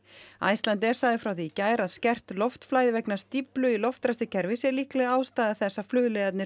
Icelandair sagði frá því í gær að skert loftflæði vegna stíflu í loftræstikerfi sé líkleg ástæða þess að